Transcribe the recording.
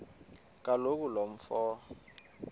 kaloku lo mfo